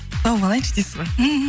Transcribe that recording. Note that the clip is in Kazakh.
тауып алайыншы дейсіз ба мхм